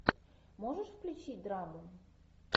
можешь включить драму